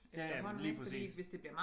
Ja ja men lige præcis